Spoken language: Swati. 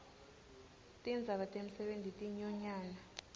tindzaba temisebenti tinyonyana